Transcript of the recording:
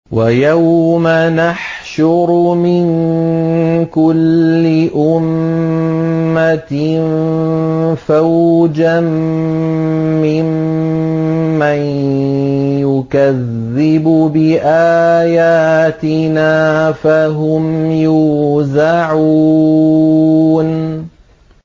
وَيَوْمَ نَحْشُرُ مِن كُلِّ أُمَّةٍ فَوْجًا مِّمَّن يُكَذِّبُ بِآيَاتِنَا فَهُمْ يُوزَعُونَ